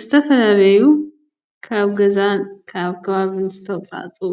ዝተፈላለዩ ካብ ገዛ ካብ ከባቢ ዝተዉፃእፅኡ